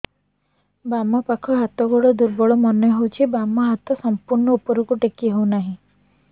ବାମ ପାଖ ହାତ ଗୋଡ ଦୁର୍ବଳ ମନେ ହଉଛି ବାମ ହାତ ସମ୍ପୂର୍ଣ ଉପରକୁ ଟେକି ହଉ ନାହିଁ